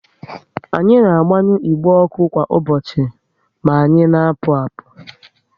Anyi na agbanyu igbe ọkụ kwa ụbọchị na anyị na apụ apu